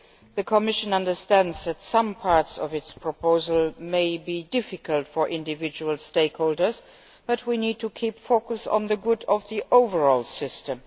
The Commission understands that some parts of its proposal may be difficult for individual stakeholders, but we need to keep focused on the good of the overall system.